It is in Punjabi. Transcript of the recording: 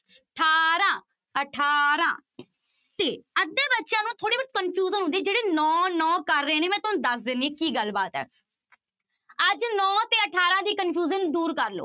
ਅਠਾਰਾਂ ਅਠਾਰਾਂ ਤੇ ਅੱਧੇ ਬੱਚਿਆਂ ਨੂੰ ਥੋੜ੍ਹੀ ਬਹੁਤ confusion ਹੁੰਦੀ ਹੈ, ਜਿਹੜੇ ਨੋਂ ਨੋਂ ਕਰ ਰਹੇ ਨੇ ਮੈਂ ਤੁਹਾਨੂੰ ਦੱਸ ਦਿੰਦੀ ਹਾਂ ਕੀ ਗੱਲ ਬਾਤ ਹੈ ਅੱਜ ਨੋਂ ਤੇ ਅਠਾਰਾਂ ਦੀ confusion ਦੂਰ ਕਰ ਲਓ।